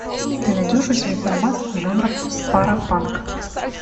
ты найдешь у себя фильмас жанра паропанк